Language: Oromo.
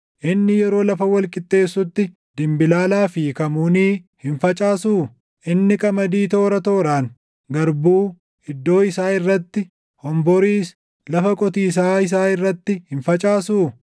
Inni yeroo lafa wal qixxeessutti dimbilaalaa fi kamuunii hin facaasuu? Inni qamadii toora tooraan, garbuu iddoo isaa irratti, honboriis lafa qotiisaa isaa irratti hin facaasuu?